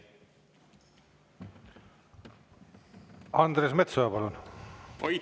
Andres Metsoja, palun!